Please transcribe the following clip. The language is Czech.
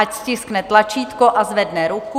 Ať stiskne tlačítko a zvedne ruku.